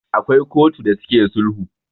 akwai kotu da suke sulhu